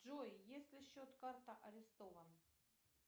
джой если счет карта арестован